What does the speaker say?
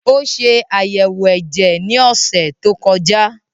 Ó ṣe àyẹ̀wò ẹ̀jẹ̀ ní ọ̀sẹ̀ tó kọjá